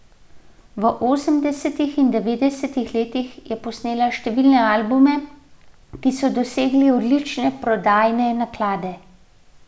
V osemdesetih in devetdesetih letih je posnela številne albume, ki so dosegali odlične prodajne naklade.